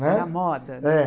Né, na moda. É.